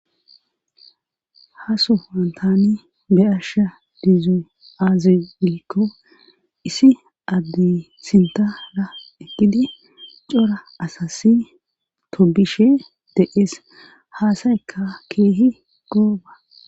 hasu wantani be asha dizzo aazelikko isi addi sintara ekidi cora asassi tobishe deees haasayka keehi gooba